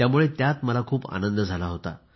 त्यामुळे यातच मला खूप आनंद झाला होता